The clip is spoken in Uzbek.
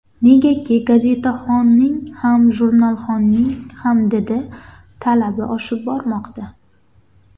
Negaki, gazetxonning ham, jurnalxonning ham didi, talabi oshib bormoqda.